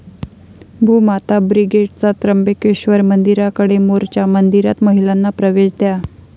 भूमाता ब्रिगेडचा त्र्यंबकेश्वर मंदिराकडे 'मोर्चा', मंदिरात महिलांना प्रवेश द्या!